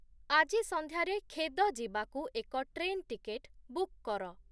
ଆଜି ସନ୍ଧ୍ୟାରେ ଖେଦ ଯିବାକୁ ଏକ ଟ୍ରେନ୍ ଟିକେଟ ବୁକ୍ କର